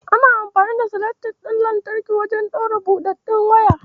Ana amfani da seletip ɗin lantarki wajen ɗaure buɗaɗɗiyar waya.